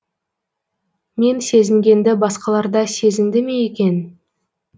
мен сезінгенді басқаларда сезінді ме екен